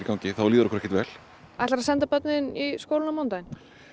gangi þá líður okkur ekki vel ætlarðu að senda börnin í skólann á mánudag